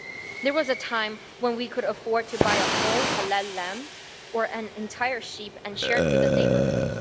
There was a time when we could afford to buy a whole halal lamb or an entire sheep and share it with the neighbourhood.